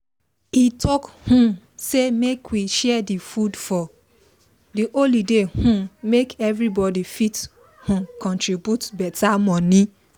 he talk um say make we share the food for the holiday um make everybody fit um contribute better money